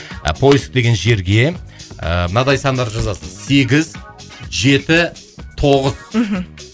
ы поиск деген жерге ыыы мынадай сандар жазасыз сегіз жеті тоғыз мхм